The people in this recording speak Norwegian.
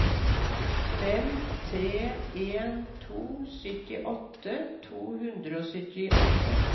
fem tre en to syttiåtte to hundre og syttiåtte